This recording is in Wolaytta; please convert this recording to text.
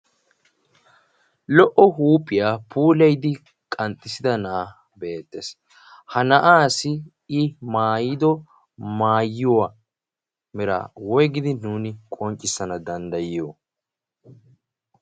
lo77o huuphiyaa pulayidi qanxxissida na7ay beettees. ha na7aasi i maayido maayuwaa mera woigidi nuuni qonccissana danddayiyo?